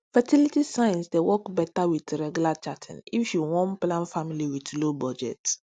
fertility signs dey work better with regular charting if you won plan family with low budget